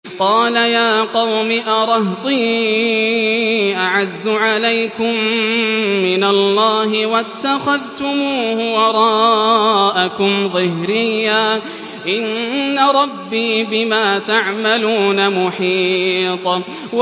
قَالَ يَا قَوْمِ أَرَهْطِي أَعَزُّ عَلَيْكُم مِّنَ اللَّهِ وَاتَّخَذْتُمُوهُ وَرَاءَكُمْ ظِهْرِيًّا ۖ إِنَّ رَبِّي بِمَا تَعْمَلُونَ مُحِيطٌ